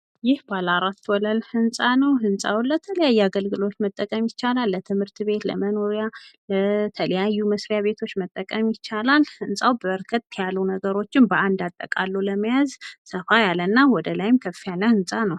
ይህ በአራት ወለል ህንፃ ነው። ህንፃው ለተለያየ አገልግሎት መጠቀም ይቻላል ለትምህርት ቤት ለመኖሪያ ለተለያዩ መስሪያ ቤቶች መጠቀም ይቻላል። ህንፃው በርከት ያሉ ነገሮችን በአንድ አጠቃሉ ለመያዝና ሰፋ ያለ ወደላይ ከፍ ያለ ህንፃ ነው።